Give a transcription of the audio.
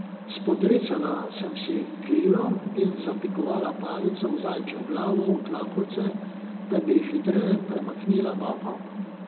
Spodrecala sem si krilo in zapikovala palico z zajčjo glavo v tlakovce, da bi hitreje premikala nogo.